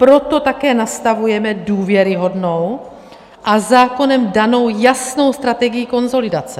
Proto také nastavujeme důvěryhodnou a zákonem danou jasnou strategii konsolidace.